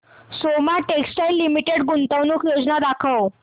Soma textile limited गुंतवणूक योजना दाखव